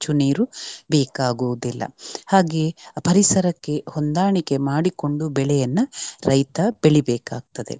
ಹೆಚ್ಚು ನೀರು ಬೇಕಾಗುವುದಿಲ್ಲ. ಹಾಗೆ ಪರಿಸರಕ್ಕೆ ಹೊಂದಾಣಿಕೆ ಮಾಡಿಕೊಂಡು ಬೆಳೆಯನ್ನ ರೈತ ಬೆಳಿಬೇಕಾಗ್ತದೆ.